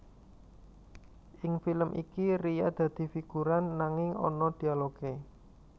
Ing film iki Ria dadi figuran nanging ana dialogé